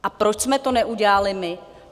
A proč jsme to neudělali my?